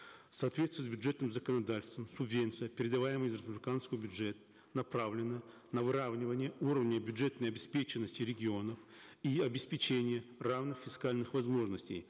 в соответствии с бюджетным законодательством субвенция передаваемая из республиканского бюджета направлена на выравнивание уровней бюджетной обеспеченности регионов и обеспечения равных фискальных возможностей